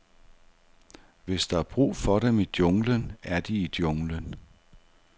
Hvis der er brug for dem i junglen, er de i junglen.